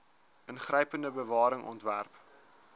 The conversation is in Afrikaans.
ingrypende bewaring ontwerp